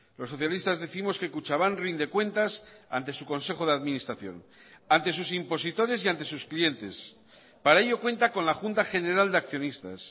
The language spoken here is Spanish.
los socialistas décimos que kutxabank rinde cuentas ante su consejo de administración ante sus impositores y ante sus clientes para ello cuenta con la junta general de accionistas